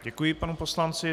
Děkuji panu poslanci.